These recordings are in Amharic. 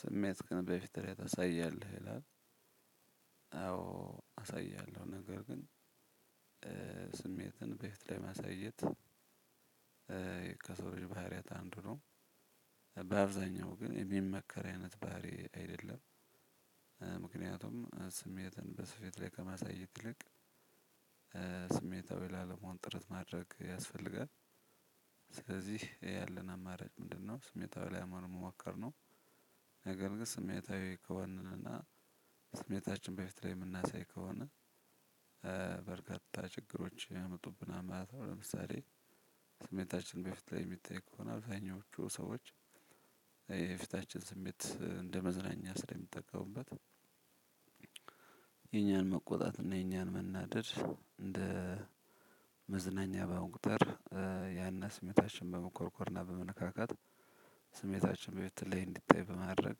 ስሜትክን በፊትህ ላይ ታሳያለህ ይላል? አዎ አሳያለሁ ነገር ግን ስሜትን በፊት ላይ ማሳየት ከሰው ልጅ ባህሪያት አንዱ ነው። በአብዛኛው ግን የሚመከር አይነት ባህሪ አይደለም። ስሜትን በሰፊት ላይ ከማሳየት ትልቅ ስሜታዊ ላለመሆን ጥረት ማድረግ ያስፈልጋል ስለዚህ ያለን አማራጭ ምንድነው? ስሜታዊ ላለመሆን መሞከር። ነገር ግን ስሜታዊ ከሆንን እና ስሜታችን በፊት ላይ ምናሳይ ከሆነ በርካታ ችግሮች ያመጡብናል ማለት ነው። ለምሳሌ ስሜታችን በፊት ላይ ሚታይ ከሆነ አብዛኞቹ ሰዎች የፊታችን ስሜት እንደ መዝናኛ ስለሚጠቀሙበት። የኛን መቆጣት እና የኛን መናደድ እንደ መዝናኛ በአሁኑ ቁጥር ያንን ስሜታችን በመኮርኮርና በመነካካት ስሜታችን በፊት ላይ እንዲታይ በማድረግ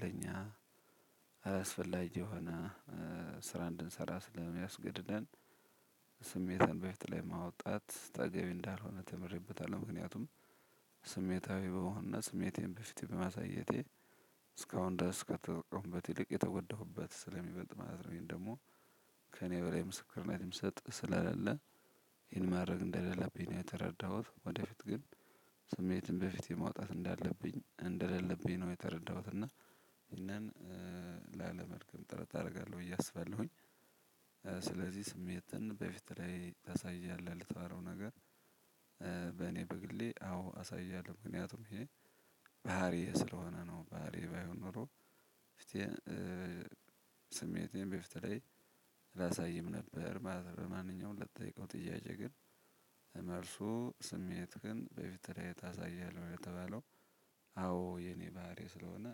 ለኛ አላስፈላጊ የሆነ ስራ እንድንሰራ ስለሚያስገድደን። ስሜትን በፊት ላይ ማውጣት ተገቢ እንዳልሆነ ተምሬበታለሁ። ምክንያቱም ስሜታዊ በሆነ ስሜቴን በፊት በማሳየቴ እስካሁን ድረስ ከተጠቀምኩበት ይልቅ የተጎዳሁበት ስለሚበልጥ ማለት ነው። ይሄን ደሞ ከእኔ በላይ ምስክር ነው የምሰጥ ስለሌለ ይሄን ማድረግ እንደሌለብኝ ነው የተረዳሁት። ወደፊት ግን ስሜትን በፊት የማውጣት እንዳለብኝ እንደሌለብኝ ነው የተረዳሁት። እና ይሄንን ላለመድገም ጥረት አረጋለሁ ብየ አስባለሁኝ። ስለዚህ ስሜትን በፊት ላይ ታሳያለህ ለተባለው ነገር። በእኔ በግሌ አዎ አሳያለሁ ምክንያቱም ይሄ ባህሪዬ ስለሆነ ነው። ባህሪዬ ባይሆን ኖሮ ፍቴ ስሜቴን በፊት ላይ አላሳይም ነበር። ማለት በማንኛውም ለተጠየቀው ጥያቄ ግን መልሱ ስሜትህን በፊት ላይ ታሳያለህ ለተባለው አዎ የኔ ባህሪ ስለሆነ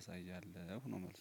አሳያለሁ ነው። መልሱ።